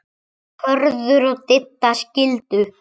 Hörður og Didda skildu.